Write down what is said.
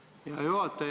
Hea juhataja!